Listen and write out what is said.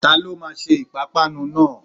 Ta ló máa se ìpápánu náà?